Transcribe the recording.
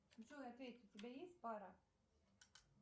джой ответь у тебя есть пара